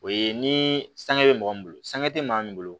O ye ni sangi bɛ mɔgɔ min bolo sanga tɛ maa min bolo